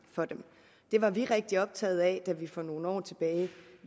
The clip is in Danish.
for dem det var vi rigtig optaget af da vi for nogle år tilbage